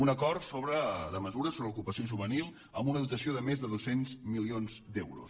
un acord de mesures sobre ocupació juvenil amb una dotació de més de dos cents milions d’euros